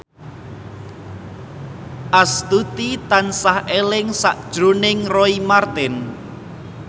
Astuti tansah eling sakjroning Roy Marten